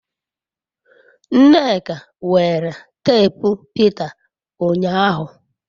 nneka were teepu Peter unyahu